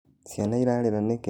Cĩana irarĩra nĩkĩ?